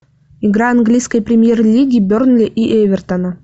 игра английской премьер лиги бернли и эвертона